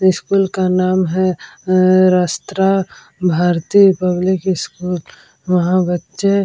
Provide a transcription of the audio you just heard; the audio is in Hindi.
स्कूल का नाम है अ रास्त्रा भारतीय पब्लिक स्कूल वहाँ बच्चे --